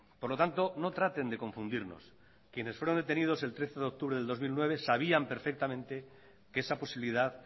por lo tanto no traten de confundirnos quienes fueron detenidos el trece de octubre de dos mil nueve sabían perfectamente que esa posibilidad